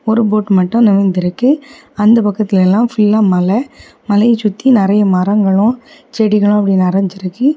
ஒரு போட் மட்டு நகர்ந்து இருக்கு அந்தப் பக்கத்துல எல்லா ஃபுல்லா மலை மலைய சுத்தி நெறைய மரங்களு செடிகளு அப்டி நெறஞ்சிருக்கு.